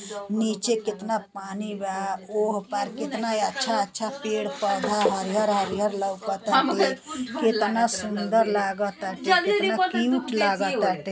नीचे केतना पानी बा। ओह पार केतना अच्छा अच्छा पेड़ पौधा हरीयर हरीयर लौकताटे। केतना सुंदर लागताटे केतना क्यूट लागताटे।